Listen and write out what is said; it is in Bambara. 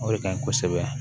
O de ka ɲi kosɛbɛ